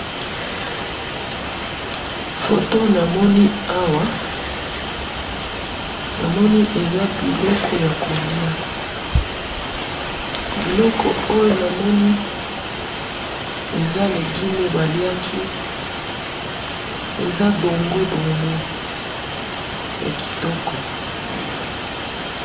foto namoni awa namoni eza biloko ya koliya biloko oyo namoni eza legume baliyaki eza dongo dongo ya kitoko